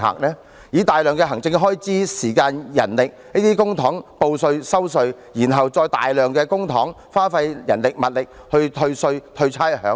花費大量的行政開支、時間、人力等要求市民報稅、收稅，然後再花費大量公帑、人力物力去退稅、退差餉。